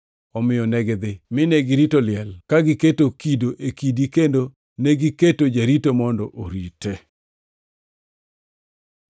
Omiyo negidhi mine girito liel ka giketo kido e kidi kendo negiketo jarito mondo orite.